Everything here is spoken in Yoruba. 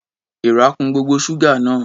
Èèrà kun gbogbo ṣúgà náà.